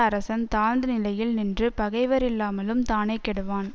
அரசன் தாழ்ந்த நிலையில் நின்று பகைவரில்லாமலும் தானே கெடுவான்